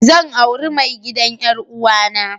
Zan aure mai gidan 'yar'uwa na.